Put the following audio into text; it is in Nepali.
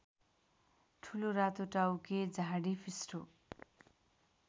ठुलो रातोटाउके झाडीफिस्टो